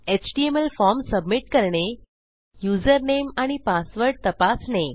HTML formसबमिट करणे user name आणि पासवर्ड तपासणे